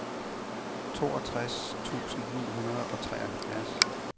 toogtres tusind ni hundrede og treoghalvfjerds